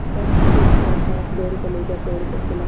बस फिर क्या था बैल कलेजा तोड़ कर चला